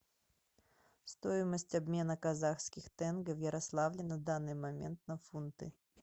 стоимость обмена казахских тенге в ярославле на данный момент на фунты